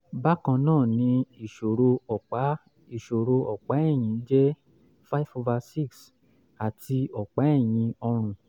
bákan náà ni ìṣòro ọ̀pá ìṣòro ọ̀pá ẹ̀yìn jẹ́ five over six àti ọ̀pá ẹ̀yìn ọrùn